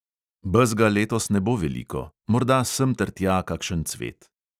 Bezga letos ne bo veliko, morda semtertja kakšen cvet.